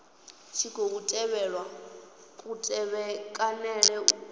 tshi khou tevhelwa kutevhekanele uku